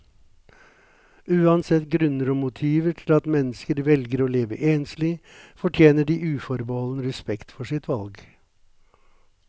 Uansett grunner og motiver til at mennesker velger å leve enslig, fortjener de uforbeholden respekt for sitt valg.